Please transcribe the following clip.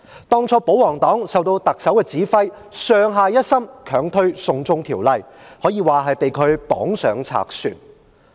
當初保皇黨受特首指揮，上下一心強推"送中條例"，可以說是被她綁上賊船。